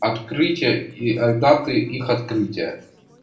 открытия и от даты их открытия